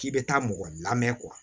K'i bɛ taa mɔgɔ lamɛn